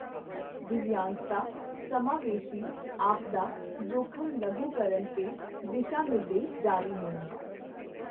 ਦਿੱਵਯਾਂਗਤਾ ਸਮਾਵੇਸ਼ੀ ਆਪਦਾ ਜੋਖਮ ਲਘੂਕਰਣ ਤੇ ਦਿਸ਼ਾ ਨਿਰਦੇਸ਼ ਜਾਰੀ ਹੋਣਾ,